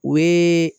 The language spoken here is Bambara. O ye